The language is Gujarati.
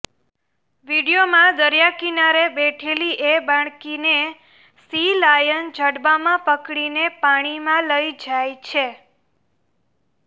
વીડિયોમાં દરિયા કિનારે બેઠેલીએ બાળકીને સી લાયન જડબામાં પકડીને પાણીમાં લઈ જાય છે